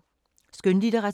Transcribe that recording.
Skønlitteratur